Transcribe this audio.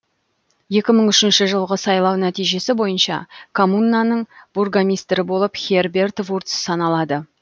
екі мың үшінші жылғы сайлау нәтижесі бойынша коммунаның бургомистрі болып херберт вурц саналады